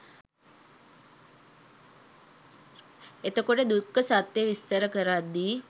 එතකොට දුක්ඛ සත්‍යය විස්තර කරද්දී